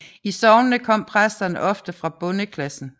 I sognene kom præsterne ofte fra bondeklassen